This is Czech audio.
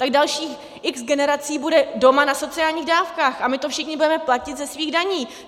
Tak dalších X generací bude doma na sociálních dávkách a my to všichni budeme platit ze svých daní.